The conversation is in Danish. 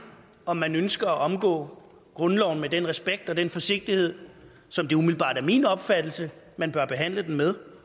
om man ønsker at omgå grundloven med den respekt og den forsigtighed som det umiddelbart er min opfattelse man bør behandle den med